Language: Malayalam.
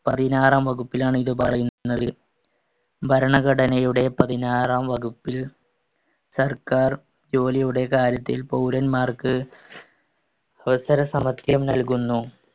പതിനാറാം വകുപ്പിലാണ് ഇത് പറയുന്നത്. ഭരണഘടനയുടെ പതിനാറാം വകുപ്പിൽ സർക്കാർ ജോലിയുടെ കാര്യത്തിൽ പൗരന്മാർക്ക് അവസര സമത്വം നൽകുന്നു.